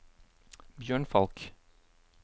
Bjørn Falch